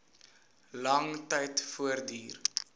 lang tyd voortduur